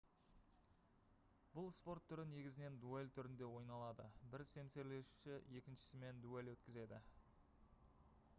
бұл спорт түрі негізінен дуэль түрінде ойналады бір семсерлесуші екіншісімен дуэль өткізеді